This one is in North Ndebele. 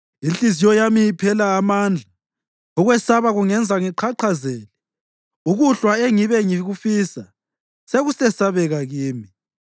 Inhliziyo yami iphela amandla, ukwesaba kungenza ngiqhaqhazele; ukuhlwa engibe ngikufisa, sekusesabeka kimi.